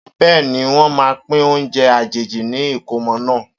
Bẹ́ẹ̀ni, wọn máa pín oúnjẹ àjèjì ní ìkómọ náà.